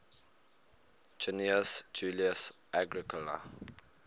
gnaeus julius agricola